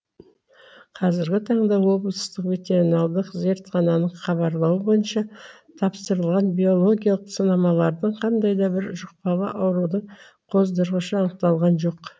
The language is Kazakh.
қазіргі таңда облыстық ветеринарлық зертхананың хабарлауы бойынша тапсырылған биологиялық сынамалардан қандай да бір жұқпалы аурудың қоздырғышы анықталған жоқ